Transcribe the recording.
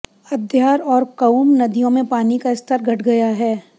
अद्यार और कुउम नदियों में पानी का स्तर घट गया है